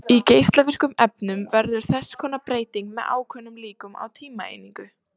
Í geislavirkum efnum verður þess konar breyting með ákveðnum líkum á tímaeiningu.